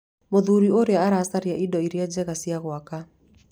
Mũthuri ũrĩa aracaria indo iria njega cia gwaka